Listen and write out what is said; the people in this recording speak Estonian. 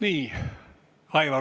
Aitäh!